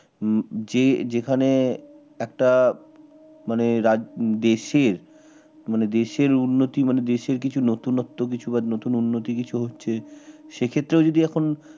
হম যে যেখানে একটা মানে রাজ দেশের মানে দেশের উন্নতি মানে দেশের কিছু নতুনত্ব বা নতুন উন্নতি কিছু হচ্ছে সে ক্ষেত্রেও যদি এখন